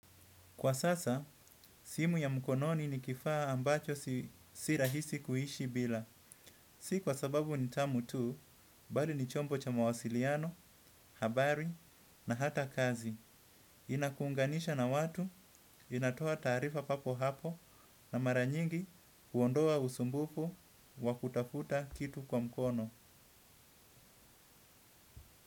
Kwa sasa, simu ya mkononi ni kifaa ambacho sirahisi kuishi bila. Si kwa sababu ni tamu tu, bali ni chombo cha mawasiliano, habari na hata kazi. Inakuunganisha na watu, inatoa taarifa papo hapo na maranyingi kuondoa usumbufu wa kutafuta kitu kwa mkono.